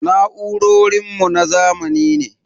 Na'urorin mu na zamani ne.